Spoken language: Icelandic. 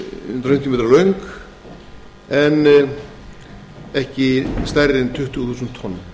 eru meira en hundrað fimmtíu metrar og tuttugu þúsund tonn